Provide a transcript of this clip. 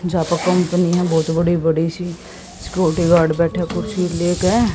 यहां पे कंपनी है बहुत बड़ी बड़ी सी सिक्योरिटी गार्ड बैठा है कुर्सी ले के।